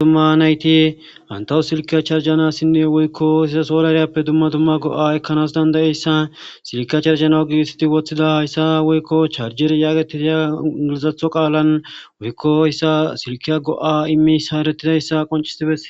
Dumma nayti bantawu silkiya charjanassinne woykko sizasolaryappe dumma dumma go7a ekkanas dandayeyssa silkiya charjana u gigisiti woththida hayssa woykko charjer yaagetidi ngilizatho qaalan woykko hayssa silkiya go7a immiyasi eretidayssa qoncisi beses